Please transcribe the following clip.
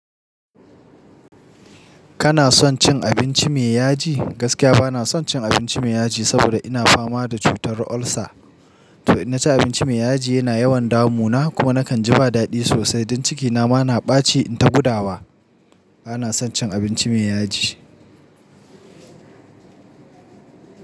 Kana son cin abinci mai yaji? Gaskiya bana son cin abinci mai yaji, saboda ina fama da cutar ulcer. To inna ci abinci mai yaji yana yawan damu na. Kuma nakan ji ba daɗi sosai don cikina ma na ɓaci in ta gudawa. Bana son cin abinci mai yaji.